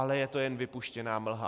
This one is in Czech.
Ale je to jen vypuštěná mlha.